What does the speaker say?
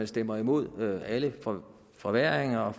stemmer imod alle forværringer og at